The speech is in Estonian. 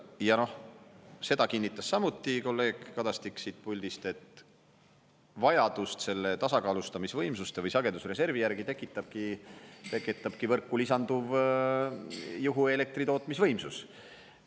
Ja noh, seda kinnitas samuti kolleeg Kadastik siit puldist, et vajadust selle tasakaalustamisvõimsuste või sagedusreservi järgi tekitabki võrku lisanduv juhuelektritootmisvõimsus.